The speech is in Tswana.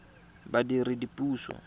badiredipuso